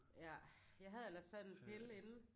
Ja jeg havde ellers taget en pille inden